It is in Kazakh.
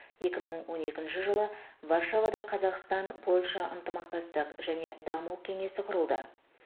екі мың он екінші жылы варшавада қазақстан польша ынтымақтастық және даму кеңесі құрылды